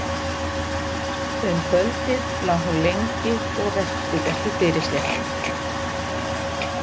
Um kvöldið lá hún lengi og velti þessu fyrir sér.